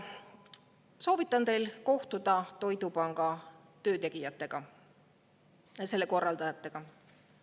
Soovitan teil kohtuda Toidupanga töö tegijatega ja selle korraldajatega.